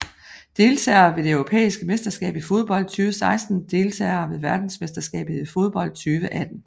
Deltagere ved det europæiske mesterskab i fodbold 2016 Deltagere ved verdensmesterskabet i fodbold 2018